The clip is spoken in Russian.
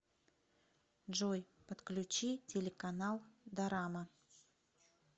джой подключи телеканал дорама